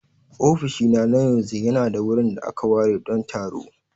Ofishina na yanzu yana da wurin da aka ware don taro.